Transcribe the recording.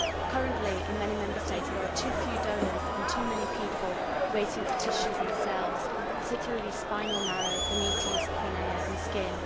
Currently in many Member States there are too few donors and too many people waiting for tissues and cells, particularly spinal marrow, gametes, cornea and skin.